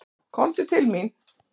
Komdu til mín.